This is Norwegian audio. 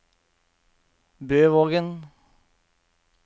Bøvågen